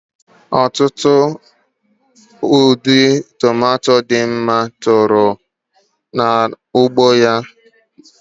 Otutu ụdị tomato dị mma maka ahụike toro n'ugbo ya ka ọ gawara nje m